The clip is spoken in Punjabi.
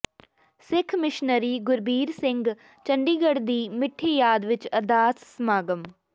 ਸਿੱਖ ਮਿਸ਼ਨਰੀ ਗੁਰਬੀਰ ਸਿੰਘ ਚੰਡੀਗੜ੍ਹ ਦੀ ਮਿੱਠੀ ਯਾਦ ਵਿਚ ਅਰਦਾਸ ਸਮਾਗਮ